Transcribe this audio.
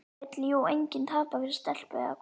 Það vill jú enginn tapa fyrir stelpu, eða hvað?